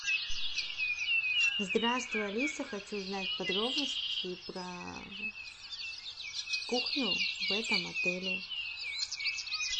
здравствуй алиса хочу узнать подробности про кухню в этом отеле